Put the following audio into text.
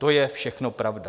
To je všechno pravda.